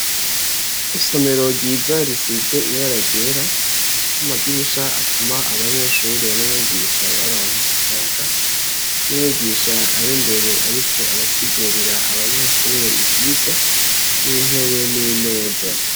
Isomero ryiza risize ibara ryera, n'amadirisha atuma abanyeshure n'umwigisha baronka akayaga, n'umwigisha ar'imbere ariko arasigurira abanyeshure ivyigwa, n'intebe n'imeza.